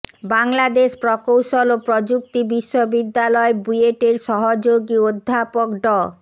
বাংলাদেশ প্রকৌশল ও প্রযুক্তি বিশ্ববিদ্যালয় বুয়েটের সহযোগি অধ্যাপক ড